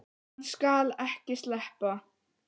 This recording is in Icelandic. Hann skal ekki sleppa!